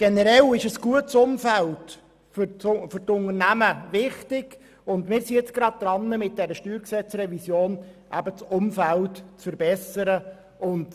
Generell ist ein gutes Umfeld für die Unternehmungen wichtig, und wir sind mit dieser StG-Revision nun gerade daran, das Umfeld zu verbessern.